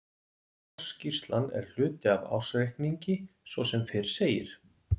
Ársskýrslan er hluti af ársreikningi svo sem fyrr segir.